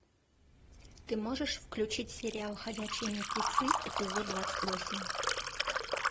ты можешь включить сериал ходячие мертвецы эпизод двадцать восемь